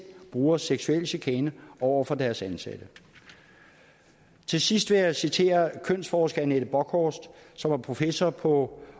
bruger seksuel chikane over for deres ansatte til sidst vil jeg citere kønsforsker anette borchorst professor på